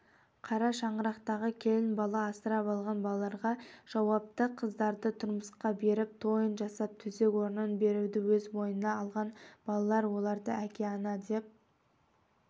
қара шаңырақтағы келін-бала асырап алған балаларға жауапты қыздарды тұрмысқа беріп тойын жасап төсек-орнын беруді өз мойнына алған балалар оларды әке-ана деп